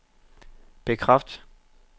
bekræft